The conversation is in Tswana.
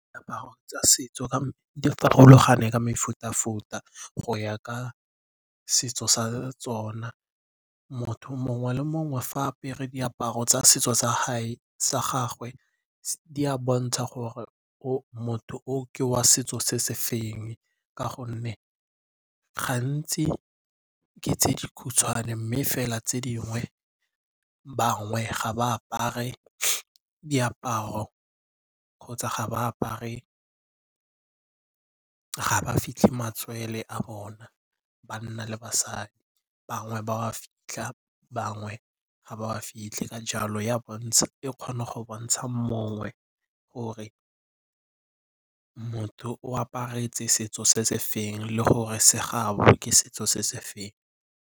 Diaparo tsa setso di farologane ka mefuta-futa go ya ka setso sa tsona. Motho mongwe le mongwe fa a apere diaparo tsa setso sa gagwe di a bontsha gore motho o ke wa setso se se feng. Ka gonne gantsi ke tse dikhutshwane mme fela tse dingwe bangwe ga ba apare diaparo kgotsa ga ba apare, ga ba fitlhe matswele a bona. Banna le basadi bangwe ba wa fitlha bangwe ga ba a fitlhe ka jalo e kgona go bontsha mongwe gore motho o aparetse setso se sefe le gore se gaabo ke setso se sefe.